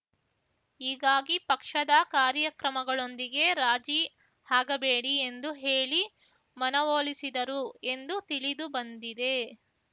ಹೀಗಾಗಿ ಪಕ್ಷದ ಕಾರ್ಯಕ್ರಮಗಳೊಂದಿಗೆ ರಾಜಿ ಆಗಬೇಡಿ ಎಂದು ಹೇಳಿ ಮನವೊಲಿಸಿದರು ಎಂದು ತಿಳಿದುಬಂದಿದೆ